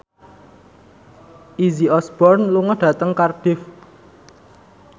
Izzy Osborne lunga dhateng Cardiff